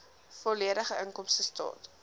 volledige inkomstestaat